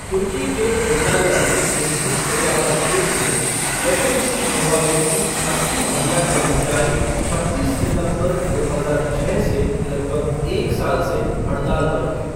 तुर्की के एंटाल्या में एक मुक्त व्यापार क्षेत्र में, एफ़एमसी नोवामेड की अस्सी महिला कर्मचारी छब्बीस सितंबर, दो हजार छः से लगभग एक साल से हड़ताल पर हैं।